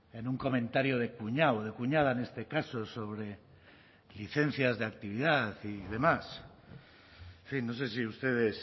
en un comentario de cuñado de cuñada en este caso sobre licencias de actividad y demás en fin no sé si ustedes